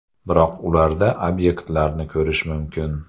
Biroq ularda obyektlarni ko‘rish mumkin.